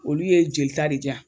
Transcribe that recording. Olu ye joli ta de di yan!